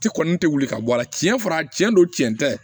Ti kɔni tɛ wuli ka bɔ a la tiɲɛ fana tiɲɛ don tiɲɛ tɛ